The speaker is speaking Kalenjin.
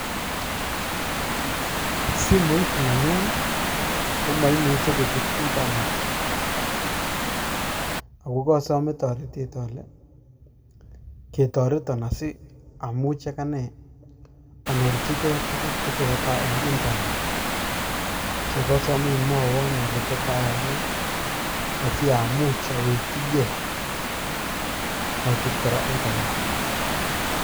Simoit nenyun komaimuchi kochut internet, ago kasome toretet ale, ketoreton asiamuch agane anyorchigei tuguk che tesetai eng' internet. So kasome imwoiwon ile tot ayai ne asiamuch awekyigei achut kora internet.